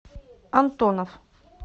антонов